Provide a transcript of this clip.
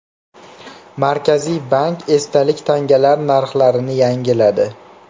Markaziy bank esdalik tangalar narxlarini yangiladi.